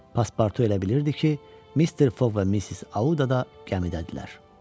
Paspartu elə bilirdi ki, Mister Foq və Missis Audada gəmidədirlər.